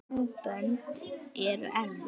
Sambönd eru erfið!